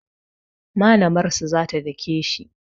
Malamr su za ta dake shi